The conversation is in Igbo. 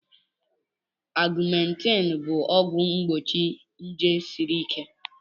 Augmentin bụ ọgwụ mgbochi nje siri ike